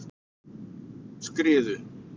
Skriðu